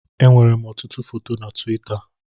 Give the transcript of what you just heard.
Enwèrè m ọtụtụ foto na Tuwita.